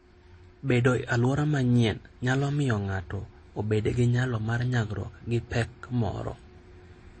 Bedo e alwora manyien nyalo miyo ng'ato obed gi nyalo mar nyagruok gi pek moro.